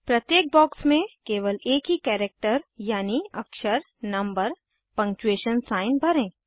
प्रत्येक बॉक्स में केवल एक ही कैरेक्टर यानि अक्षरनंबर पंगक्चूएशन साइन भरें